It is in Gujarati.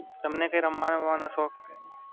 તમને કઈ રમવાનો-બમવાનો શોખ કઈ?